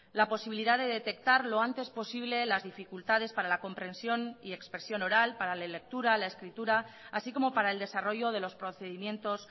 la posibilidad de detectar lo antes posible las dificultades para la comprensión y expresión oral para la lectura la escritura así como para el desarrollo de los procedimientos